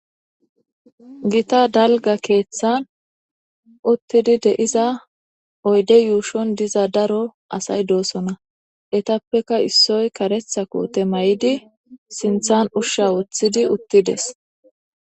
Gita dalga keeththan uttidi deiza oyde yuushon diza daro asay doosona etappeka issoy karetha koote may7idi sinthan ushsha woththidi uttides